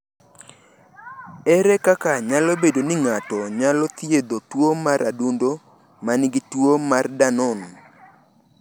Ere kaka nyalo bedo ni ng’ato nyalo thiedho tuwo mar adundo ma nigi tuwo mar Danon?